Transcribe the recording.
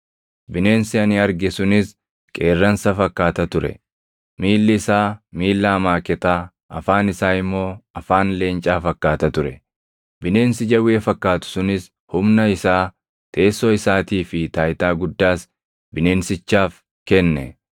Bineensi ani arge sunis qeerransa fakkaata ture. Miilli isaa miilla amaaketaa, afaan isaa immoo afaan leencaa fakkaata ture. Bineensi jawwee fakkaatu sunis humna isaa, teessoo isaatii fi taayitaa guddaas bineensichaaf kenne.